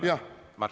Mart Helme!